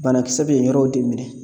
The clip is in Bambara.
Banakisɛ bɛ yen yɔrɔw de minɛ